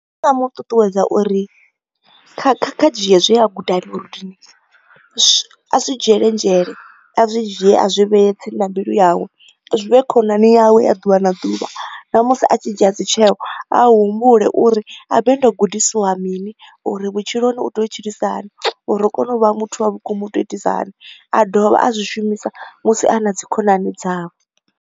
Ndi nga mu ṱuṱuwedza uri kha kha ri dzhie zwe a guda murunduni, a zwi dzhiele nzhele, a zwi dzhie a zwi vhee tsini na mbilu yawe. Zwi vhe khonani yawe ya ḓuvha na ḓuvha, na musi a tshi dzhia dzitsheo, a humbule uri habe ndo gudisiwa mini uri vhutshiloni u tea u tshilisa hani uri ri kone u vha muthu wa vhukuma u tea u itisa hani, a dovha a zwi shumisa musi a na dzi khonani dzawe.